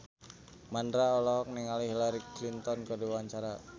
Mandra olohok ningali Hillary Clinton keur diwawancara